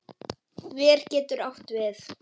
Ver getur átt við